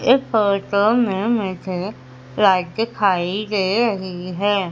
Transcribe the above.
इस फोटो में मुझे लाइट दिखाई दे रही है।